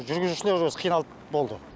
жүргізушілері осы қиналып болды